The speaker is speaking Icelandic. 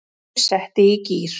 Andri setti í gír.